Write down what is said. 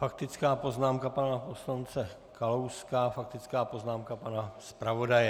Faktická poznámka pana poslance Kalouska, faktická poznámka pana zpravodaje.